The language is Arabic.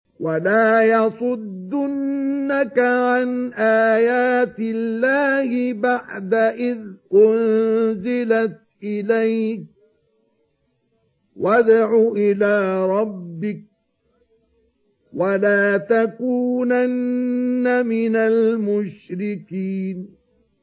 وَلَا يَصُدُّنَّكَ عَنْ آيَاتِ اللَّهِ بَعْدَ إِذْ أُنزِلَتْ إِلَيْكَ ۖ وَادْعُ إِلَىٰ رَبِّكَ ۖ وَلَا تَكُونَنَّ مِنَ الْمُشْرِكِينَ